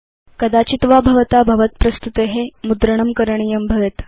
कदाचित् वा भवता भवत् प्रस्तुते मुद्रणं करणीयं भवति